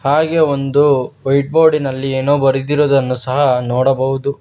ಹಾಗೆ ಒಂದು ವೈಟ್ ಬೋರ್ಡಿನಲ್ಲಿ ಏನೋ ಬರೆದಿರುವುದನ್ನು ಸಹ ನೋಡಬಹುದು.